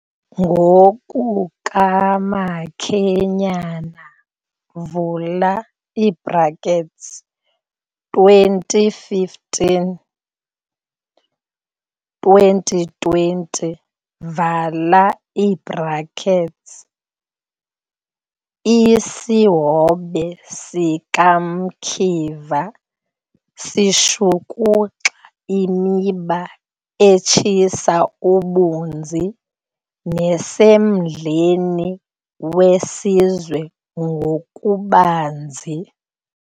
NgokukaMakhenyane, vula ii-brackets 2015, 2020 vala ii-brackets, isihobe sikaMkiva sishukuxa imiba etshisa ibunzi nesemdleni wesizwe ngokubanzi.